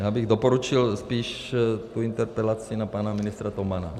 Já bych doporučil spíš tu interpelaci na pana ministra Tomana.